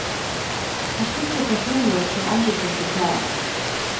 Han skifter personlighet som andre skifter klær.